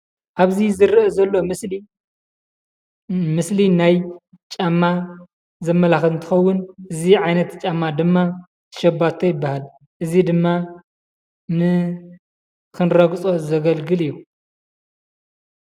ኣብዚ ዝርአ ዘሎ ምስሊ ምስሊ ናይ ጫማ ዘመላኽት እንትኸውን እዚ ዓይነት ጫማ ድማ ሸባቶ ይበሃል፡፡ እዚ ድማ ንኽንረግፆ ዘገልግል እዩ፡፡